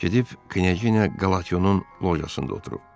Gedib Knejinya Qalationun lojasında oturub.